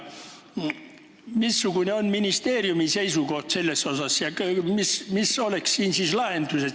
Missugune on ministeeriumi seisukoht ja mis oleks siis lahendus?